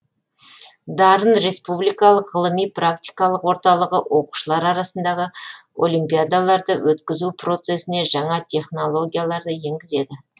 дарын республикалық ғылыми практикалық орталығы оқушылар арасындағы олимпиадаларды өткізу процесіне жаңа технологияларды енгізеді